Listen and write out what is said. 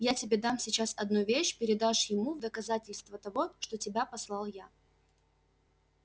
я тебе дам сейчас одну вещь передашь ему в доказательство того что тебя послал я